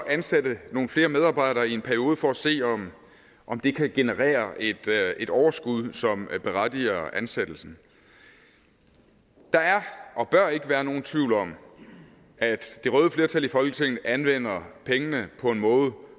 at ansætte nogle flere medarbejdere i en periode for at se om om det kan generere et et overskud som berettiger ansættelsen der er og bør ikke være nogen tvivl om at det røde flertal i folketinget anvender pengene på en måde